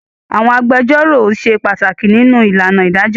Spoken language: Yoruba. Àwọn agbẹjọ́rò ṣe pàtàkì nínú ìlànà ìdájọ́.